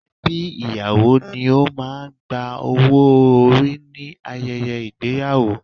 Ẹbí ìyàwó ni ó má́a ń gba owó orí nínú ayẹyẹ ìgbéyàwó